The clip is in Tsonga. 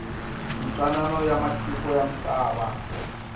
mintwanano ya matiko ya misava